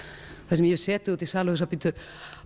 þar sem ég hef setið úti í sal og hugsað bíddu